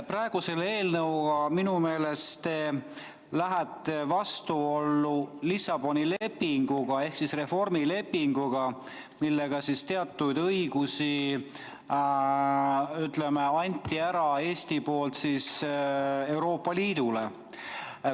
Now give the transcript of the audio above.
Selle eelnõuga minu meelest te lähete vastuollu Lissaboni lepinguga ehk reformilepinguga, millega Eesti andis ära teatud õigused Euroopa Liidule.